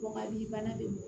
Bɔgɔ b'i bana de